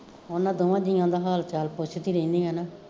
ਓਹਨਾਂ ਦੋਵਾ ਜੀਆਂ ਦਾ ਹਾਲ ਚਾਲ ਪੁੱਛਦੀ ਰਹਿਣੀ ਆਂ ਨਾ